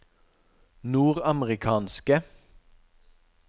nordamerikanske